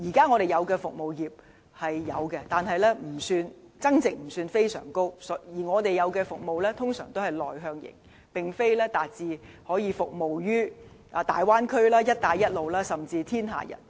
我們現時的服務業增值不算非常高，而我們的服務多是內向型，並非達致可以服務於大灣區、"一帶一路"國家，甚至全世界。